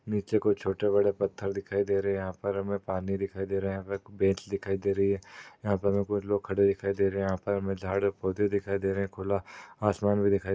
नीचे कुछ छोटे बड़े पत्थर दिखाई दे रहे। यहाँ पर हमे पानी दिखाई दे रहा है। हमे बेंच दिखाई दे रही है। यहाँ पर हमे कुछ लोग खड़े दिखाई दे रहे है। यहाँ पर हमे झाड पौदे दिखाई दे रहे है। खुला आसमान भी दिखा--